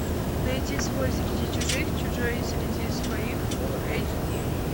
найди свой среди чужих чужой среди своих фул эйч ди